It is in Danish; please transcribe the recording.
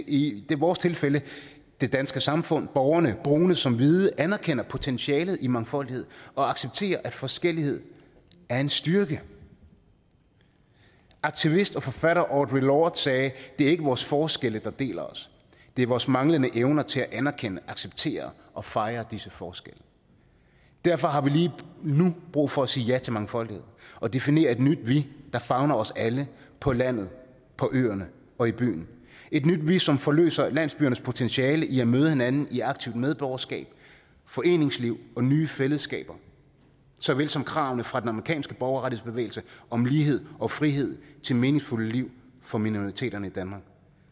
i vores tilfælde det danske samfund borgerne brune som hvide anerkender potentialet i mangfoldighed og accepterer at forskellighed er en styrke aktivist og forfatter audre lorde sagde det er ikke vores forskelle der deler os det er vores manglende evner til at anerkende acceptere og fejre disse forskelle derfor har vi lige nu brug for at sige ja til mangfoldighed og definere et nyt vi der favner os alle på landet på øerne og i byen et nyt vi som forløser landsbyernes potentiale i at møde hinanden i aktivt medborgerskab foreningsliv og nye fællesskaber såvel som kravene fra den amerikanske borgerrettighedsbevægelse om lighed og frihed til meningsfulde liv for minoriteterne i danmark